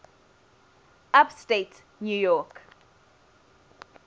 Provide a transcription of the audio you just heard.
upstate new york